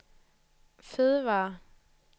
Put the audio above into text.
fødevarer